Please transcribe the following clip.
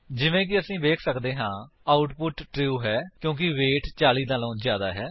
ਜਿਵੇਂ ਕਿ ਅਸੀ ਵੇਖ ਸੱਕਦੇ ਹਾਂ ਆਉਟਪੁਟ ਟਰੂ ਹੈ ਕਿਉਂਕਿ ਵੇਟ 40 ਵਲੋਂ ਜਿਆਦਾ ਹੈ